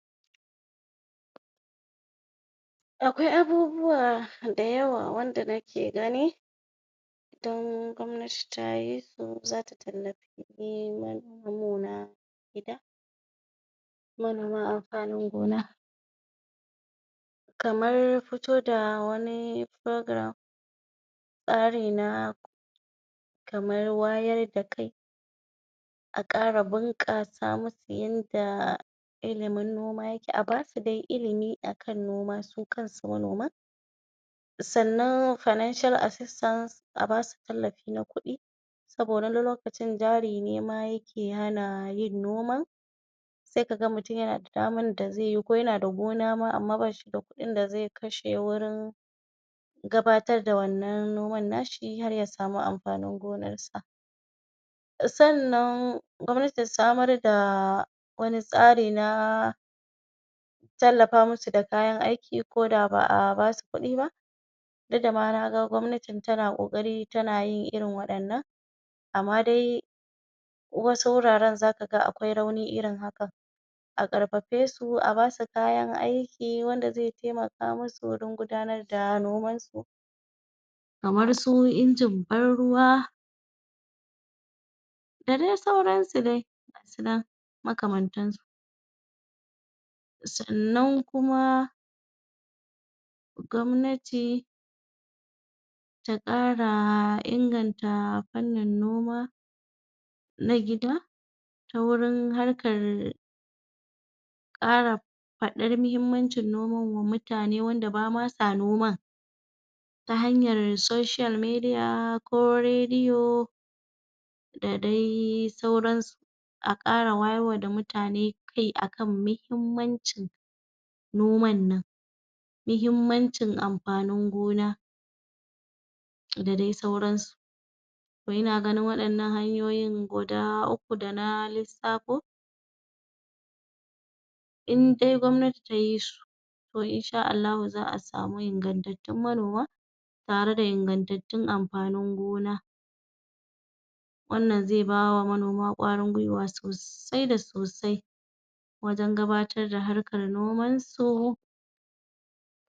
‎Akwai abubuwa da yawa wanda nake gani idan gwamnati tayi su zata tallafi manomanmu na gida manoma amfanin gona, kamar fito da wani program, tsari na kamar wayar da kai a kara bunkasa musu yanda ilimin noma yake a basu dai ilimi akan noma su kansu manoman sannan finaicial assistance a basu tallafi na ku kuɗi saboda wani lokaci jarine ma yake hanayin noma sai kaga mutum yana da damar da zaiyi ko yana da gona ma amma bashida kuɗin da zai kashe wurin gabatar da wannan noman nashi har yasamu amfanin gonarsa. Sannan gwamnati ta samar da wani tsari na tallafa musu da kayan aiki ko da ba'a basu kuɗi ba duk da ma naga gwamnatin tana ƙoƙari tana yin irin waɗannan amma dai wasu wuraran zaka ga akwai rauni irin haka a karfafe su a basu kayan aiki wanda zai taimaka musu gurin gudanar da nomansu. Kamar su injin ban ruwa da dai sauransu dai gasu nan makamantan su sannan kuma gwamnati taƙara inganta fannin noma na gida, ta wurin harkar ƙara fadar mahimmancin nomawa mutane wanda basama noman ta hanyar social media ko radio da dai sauransu. A kara wayarwa da mutane kai akan mihimmancin noman nan mahimmancin amfanin gona da dai sauransu ina ganin waɗannan hanyoyin guda uku da na lissafo indai gwamnati tayisu to insha Allahu za a samu ingantattun manoma tare da ingantattun amfanin gona wannan zai bawa manoma ƙwarin gwiwa sosai da sosai wajan gabatar da harkar nomansu